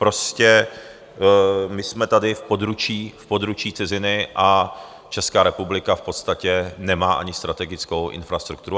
Prostě my jsme tady v područí ciziny a Česká republika v podstatě nemá ani strategickou infrastrukturu.